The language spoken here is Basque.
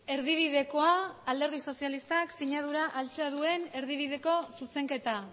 erdibidekoa alderdi sozialistak sinadura altxa duen erdibideko zuzenketa